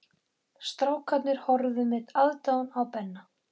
Strákarnir horfðu með aðdáun á Benna.